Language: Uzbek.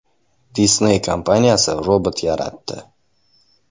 Disney kompaniyasi robot yaratdi.